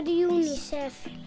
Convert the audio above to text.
UNICEF